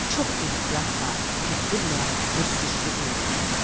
Çox ehtiyatla, tədbirlə bu sirri öyrənəsən.